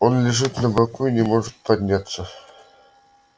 он лежит на боку и не может подняться